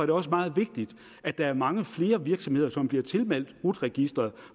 det også meget vigtigt at der er mange flere virksomheder som bliver tilmeldt rut registeret